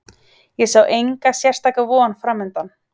Ég sá enga sérstaka von framundan.